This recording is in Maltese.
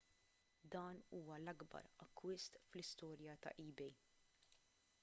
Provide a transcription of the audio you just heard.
dan huwa l-akbar akkwist fl-istorja ta' ebay